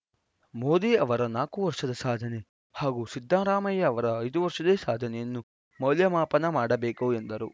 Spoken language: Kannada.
ಮೋದಿ ಅವರ ನಾಲ್ಕು ವರ್ಷದ ಸಾಧನೆ ಹಾಗೂ ಸಿದ್ದರಾಮಯ್ಯ ಅವರ ಐದು ವರ್ಷದ ಸಾಧನೆಯನ್ನು ಮೌಲ್ಯಮಾಪನ ಮಾಡಬೇಕು ಎಂದರು